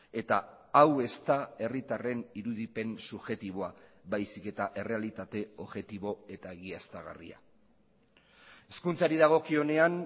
eta hau ez da herritarren irudipen subjektiboa baizik eta errealitate objektibo eta egiaztagarria hezkuntzari dagokionean